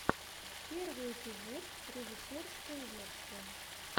первый эпизод режиссерская версия